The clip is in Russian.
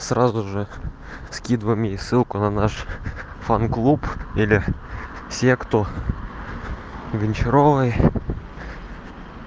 сразу же скидывай мне ссылку на наш фан клуб или все кто гончаровой